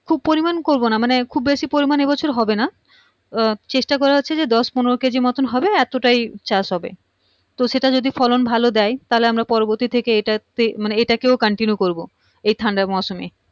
খুব পরিমান করবোনা মানে খুব বেশি পরিমান এইবছর হবেনা আহ চেষ্টা করাহচ্ছে যে দশ পনেরো কেজির মতন হবে এতটাই চাষ হবে তো সেটা যদি ফলন ভাল দেয় তাহলে আমরা পরবর্তী থেকে এইটা তে মানে এটাকেও continue করবো এই ঠান্ডার মরসুমে